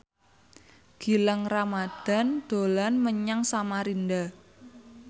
Gilang Ramadan dolan menyang Samarinda